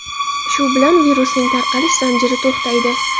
Shu bilan virusning tarqalish zanjiri to‘xtaydi.